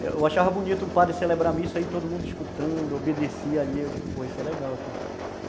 Eu achava bonito um padre celebrar a missa aí, todo mundo escutando, obedecia ali, eu digo, pô, isso é legal aqui.